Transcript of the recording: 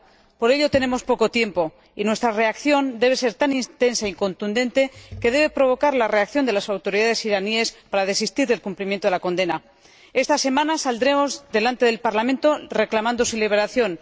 Por ello, tenemos poco tiempo y nuestra reacción debe ser tan intensa y contundente que debe provocar la reacción de las autoridades iraníes para que desistan del cumplimiento de la condena. Esta semana nos manifestaremos delante del Parlamento reclamando su liberación.